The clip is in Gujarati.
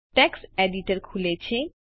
ટેક્સ્ટ એડિટર ખૂલેલ છે